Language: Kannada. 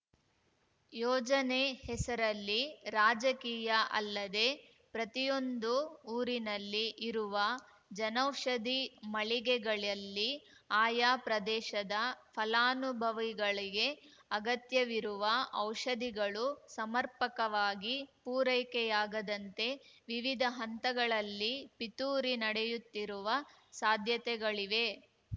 ಯೋಜನೆ ಹೆಸರಲ್ಲಿ ರಾಜಕೀಯ ಅಲ್ಲದೆ ಪ್ರತಿಯೊಂದು ಊರಿನಲ್ಲಿ ಇರುವ ಜನೌಷಧಿ ಮಳಿಗೆಗಳಲ್ಲಿ ಆಯಾ ಪ್ರದೇಶದ ಫಲಾನುಭವಿಗಳಿಗೆ ಅಗತ್ಯವಿರುವ ಔಷಧಿಗಳು ಸಮರ್ಪಕವಾಗಿ ಪೂರೈಕೆಯಾಗದಂತೆ ವಿವಿಧ ಹಂತಗಳಲ್ಲಿ ಪಿತೂರಿ ನಡೆಯುತ್ತಿರುವ ಸಾಧ್ಯತೆಗಳಿವೆ